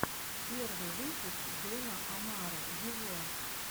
первый выпуск дона омара вево